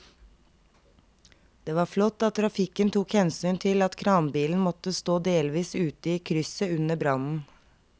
Det var flott at trafikken tok hensyn til at kranbilen måtte stå delvis ute i krysset under brannen.